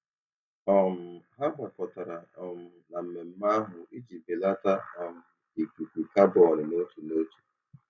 um Ha gbakọtara um na mmemme ahụ iji belata um ikuku kabọn n'otu n'otu.